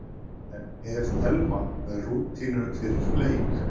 En er Telma með rútínu fyrir leik?